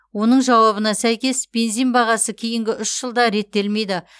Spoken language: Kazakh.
оның жауабына сәйкес бензин бағасы кейінгі үш жылда реттелмейді